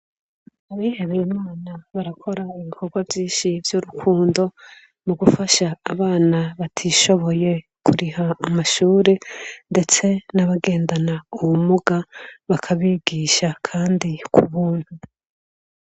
Abihebeye Imana barakora ibikorwa vyinshi vy'urukundo mu gufasha abana batishoboye kuriha amashure ndetse n'abagendana ubumuga bakabigisha kandi ku buntu.